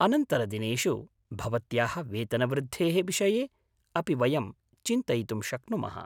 अनन्तरदिनेषु भवत्याः वेतनवृद्धेः विषये अपि वयं चिन्तयितुं शक्नुमः।